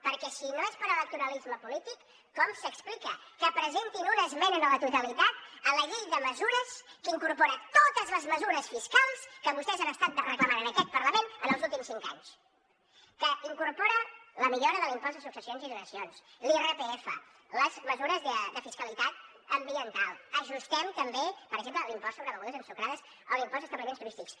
perquè si no és per electoralisme polític com s’explica que presentin una esmena a la totalitat a la llei de mesures que incorpora totestès han estat reclamant en aquest parlament en els últims cinc anys que incorpora la millora de l’impost de successions i donacions l’irpf les mesures de fiscalitat ambiental ajustem també per exemple l’impost sobre begudes ensucrades o l’impost a establiments turístics